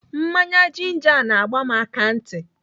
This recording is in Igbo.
Mmanya jinja a na-agba m akantị.